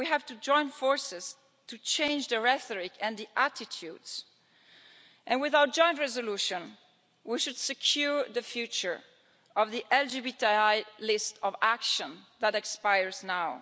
We have to join forces to change the rhetoric and the attitudes, and, with our joint resolution, we should secure the future of the LGBTI List of Actions that expires now.